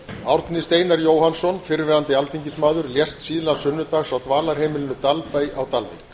árni steinar jóhannsson fyrrverandi alþingismaður lést síðla sunnudags á dvalarheimilinu dalbæ á dalvík